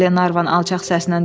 Glenarvan alçaq səslə dedi.